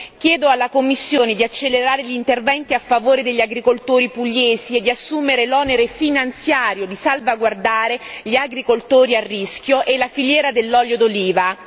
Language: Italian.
Chiedo alla Commissione di accelerare gli interventi a favore degli agricoltori pugliesi e di assumere l'onere finanziario di salvaguardare gli agricoltori a rischio e la filiera dell'olio d'oliva.